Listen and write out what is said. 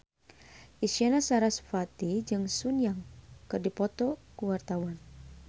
Isyana Sarasvati jeung Sun Yang keur dipoto ku wartawan